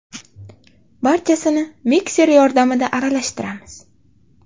Barchasini mikser yordamida aralashtiramiz.